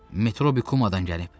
Metrobi Kumadan gəlib.